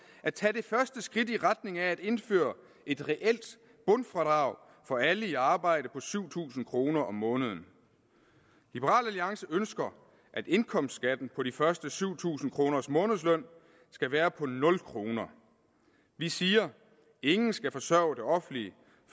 at tage det første skridt i retning af at indføre et reelt bundfradrag for alle i arbejde på syv tusind kroner om måneden liberal alliance ønsker at indkomstskatten på de første syv tusind kroner af månedslønnen skal være på nul kroner vi siger ingen skal forsørge det offentlige